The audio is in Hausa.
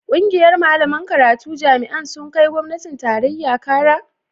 ƙungiyar malaman karatun jami'an sun kai gwamnatin tarayya Kara?